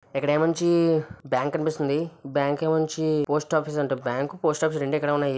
ఇక్కడ ఏముంచి బ్యాంక్ కనిపిస్తుంది బ్యాంక్ ఏముంచి--